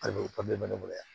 Ayiwa o bɛ ne bolo yan